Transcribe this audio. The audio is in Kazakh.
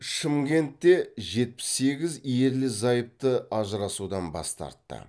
шымкентте жетпіс сегіз ерлі зайыпты ажырасудан бас тартты